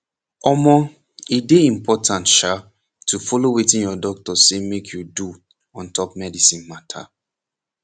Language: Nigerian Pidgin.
omoh e dey important sha to follow wetin your doctor say make you do ontop medicine mata